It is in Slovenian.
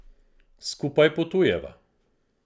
Skupaj potujeva.